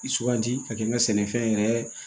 Suganti ka kɛ n ka sɛnɛfɛn yɛrɛ